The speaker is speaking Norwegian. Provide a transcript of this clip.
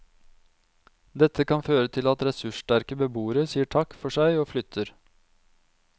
Dette kan føre til at ressurssterke beboere sier takk for seg og flytter.